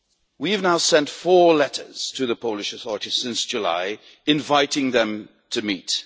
We have now sent four letters to the Polish authorities since July, inviting them to meet.